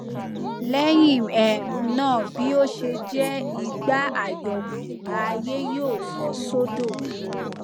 lẹyìn um náà bi o ṣe jẹ ìgbà àyọkù ààyè yóò fọ sódò